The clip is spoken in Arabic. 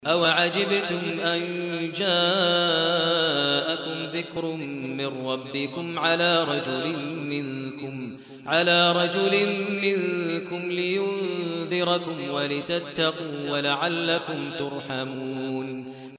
أَوَعَجِبْتُمْ أَن جَاءَكُمْ ذِكْرٌ مِّن رَّبِّكُمْ عَلَىٰ رَجُلٍ مِّنكُمْ لِيُنذِرَكُمْ وَلِتَتَّقُوا وَلَعَلَّكُمْ تُرْحَمُونَ